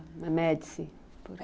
Médici